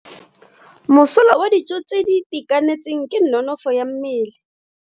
Mosola wa dijo tse di itekanetseng ke nonofo ya mmele.